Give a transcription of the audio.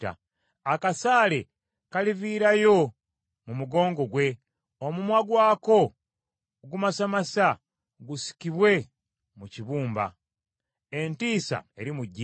Akasaale kaliviirayo mu mugongo gwe, omumwa gwako ogumasamasa gusikibwe mu kibumba. Entiisa erimujjira.